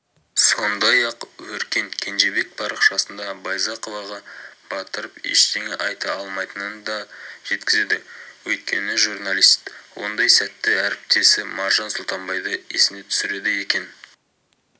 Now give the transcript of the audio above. сондай-ақ өркен кенжебек парақшасында байзақоваға батырып ештеңе айта алмайтынын да жеткізді өйткені журналист ондай сәтте әріптесі маржан сұлтанбайды есіне түсіреді екен